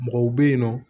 Mɔgɔw bɛ yen nɔ